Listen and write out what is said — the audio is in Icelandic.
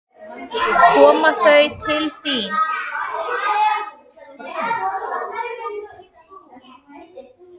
Koma þau til þín?